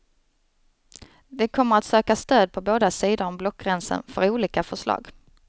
De kommer att söka stöd på båda sidor om blockgränsen för olika förslag.